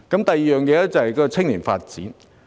第二點是青年發展。